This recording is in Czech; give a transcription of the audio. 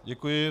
Děkuji.